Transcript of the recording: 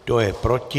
Kdo je proti?